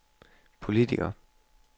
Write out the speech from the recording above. politiker